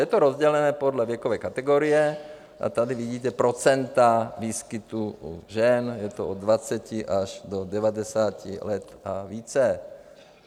Je to rozdělené podle věkové kategorie, tady vidíte procenta výskytu u žen, je to od 20 až do 90 let a více.